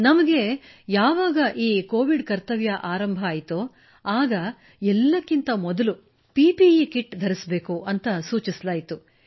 ನಮಗೆ ಯಾವಾಗ ಕೋವಿಡ್ ಕರ್ತವ್ಯ ಆರಂಭವಾಯಿತೋ ಆಗ ಎಲ್ಲಕ್ಕಿಂತ ಮೊದಲು ಪಿಪಿಇ ಕಿಟ್ ಧರಿಸಲು ಸೂಚಿಸಲಾಯಿತು